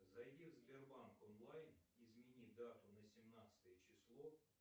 зайди в сбербанк онлайн измени дату на семнадцатое число